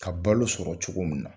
Ka balo sɔrɔ cogo min na